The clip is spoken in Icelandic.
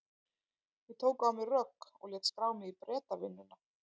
Ég tók á mig rögg og lét skrá mig í Bretavinnuna.